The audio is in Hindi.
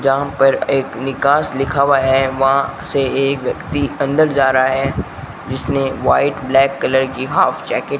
यहां पर एक निकास लिखा हुआ है वहां से एक व्यक्ति अंदर जा रहा है जिसने वाइट ब्लैक कलर की हॉफ जैकेट --